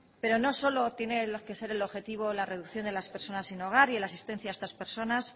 pero no solo tiene que ser el objetivo la reducción de las personas sin hogar y la asistencia a estas personas